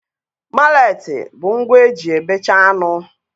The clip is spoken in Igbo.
Maletị bụ ngwa eji e bechaa anụ